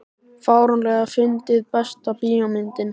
fáránlega fyndið Besta bíómyndin?